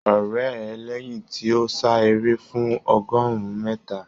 O rẹ̀ ẹ́ lẹ́yìn tí ó sá eré fún ọgọ́rùn-ún mítà.